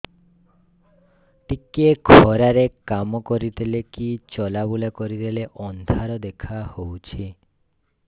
ଟିକେ ଖରା ରେ କାମ କରିଦେଲେ କି ଚଲବୁଲା କରିଦେଲେ ଅନ୍ଧାର ଦେଖା ହଉଚି